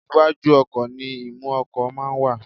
Iwájú ọkò ni imú ọkò máa ń wà